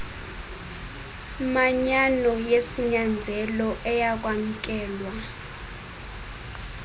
manyano yesinyanzelo eyakwamkelwa